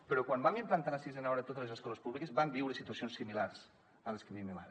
però quan vam implantar la sisena hora a totes les escoles públiques vam viure situacions similars a les que vivim ara